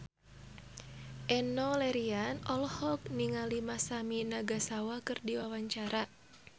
Enno Lerian olohok ningali Masami Nagasawa keur diwawancara